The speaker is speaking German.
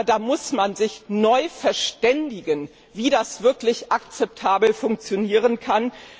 Da muss man sich neu verständigen, wie das wirklich akzeptabel funktionieren kann.